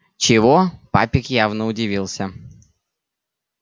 чего папик явно удивился